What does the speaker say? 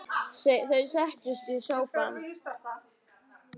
Þau settust í sófann.